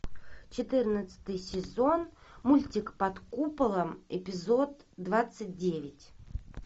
четырнадцатый сезон мультик под куполом эпизод двадцать девять